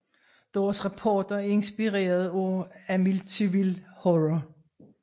Deres rapporter er inspireret af Amityville Horror